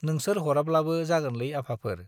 नोंसोर हराब्लाबो जागोनलै आफाफोर।